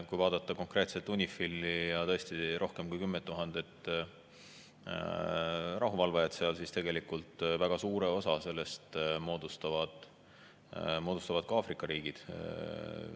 Kui vaadata konkreetselt UNIFIL-i ja tõesti rohkem kui 10 000 rahuvalvajat seal, siis tegelikult väga suure osa sellest moodustavad Aafrika riigid.